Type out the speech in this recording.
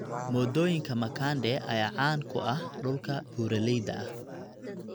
Moodooyinka makande ayaa caan ku ah dhulka buuraleyda ah.